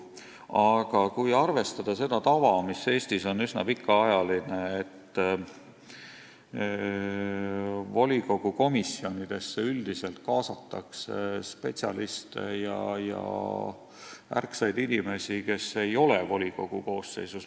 Aga tuleb arvestada seda tava, mis Eestis on üsna pikaajaline, et volikogu komisjonidesse üldiselt kaasatakse spetsialiste ja ärksaid inimesi, kes ei ole volikogu koosseisus.